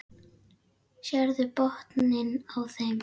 Sérðu botninn á þeim.